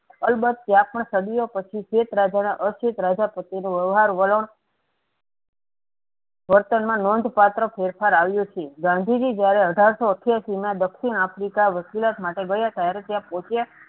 અલબત્ત ત્યાગપણ સદીયો પછી જે પ્રજાના અસ્વેત રાજા પ્રત્યેનો વ્યવહાર વલણ વર્તનમાં નોંધ પાત્ર ફેરફાર આવ્યો છે. ગાંધીજી જયારે અઢારસો અઠ્યાસીમાં દક્ષિણ આફ્રિકા વકીલાત માટે ગયાં હતાં અને ત્યાં પહોચીયા